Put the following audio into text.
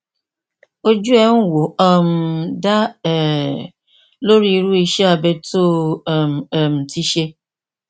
ojú ẹ ń wò ó um da um lórí irú iṣé abẹ tó o um ti ṣe